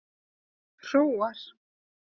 Hróar